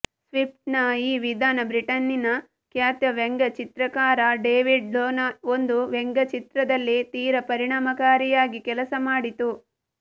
ಸ್ವಿಫ್ಟನ ಈ ವಿಧಾನ ಬ್ರಿಟನ್ನಿನ ಖ್ಯಾತ ವ್ಯಂಗ್ಯಚಿತ್ರಕಾರ ಡೇವಿಡ್ ಲೋನ ಒಂದು ವ್ಯಂಗ್ಯಚಿತ್ರದಲ್ಲಿ ತೀರ ಪರಿಣಾಮಕಾರಿಯಾಗಿ ಕೆಲಸಮಾಡಿತು